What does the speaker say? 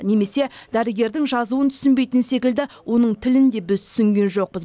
немесе дәрігердің жазуын түсінбейтін секілді оның тілін де біз түсінген жоқпыз